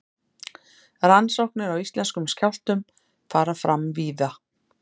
rannsóknir á íslenskum skjálftum fara fram víða